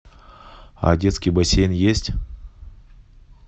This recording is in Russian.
а детский бассейн есть